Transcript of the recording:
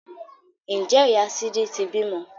Ǹjẹ́ ìyá sídí ti bímọ?